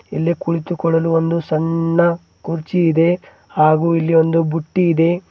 ಇಲ್ಲಿ ಕುಳಿತುಕೊಳ್ಳಲು ಒಂದು ಸಣ್ಣ ಕುರ್ಚಿ ಇದೆ ಹಾಗು ಇಲ್ಲಿ ಒಂದು ಬುಟ್ಟಿ ಇದೆ.